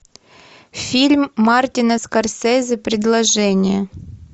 фильм мартина скорсезе предложение